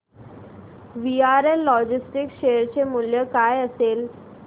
VRL logistics share चे मूल्य काय असेल